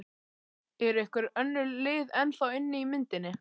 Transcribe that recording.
Eru einhver önnur lið ennþá inni í myndinni?